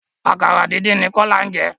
Àkàrà díndín ni Kọ́lá jẹ.